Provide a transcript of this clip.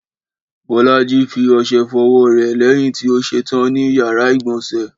Bọ́lájí fi ọṣẹ fọwọ́ rẹ̀ lẹ́yìn tí ó ṣetán ní ìyàrá-ìgbọ̀nsẹ̀.